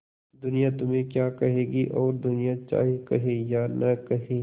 दुनिया तुम्हें क्या कहेगी और दुनिया चाहे कहे या न कहे